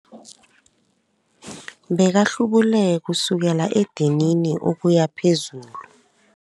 Bekahlubule kusukela edinini ukuya phezulu.